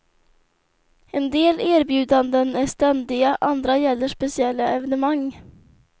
En del erbjudanden är ständiga, andra gäller speciella evenemang.